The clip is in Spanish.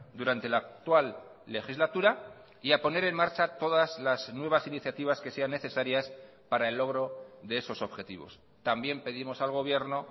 durante la actual legislatura y a poner en marcha todas las nuevas iniciativas que sean necesarias para el logro de esos objetivos también pedimos al gobierno